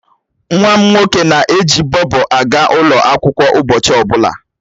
Nwa m nwoke na-eji Bobo aga ụlọ akwụkwọ ụbọchị ọbụla.